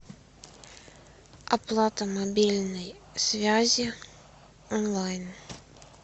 оплата мобильной связи онлайн